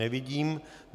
Nevidím.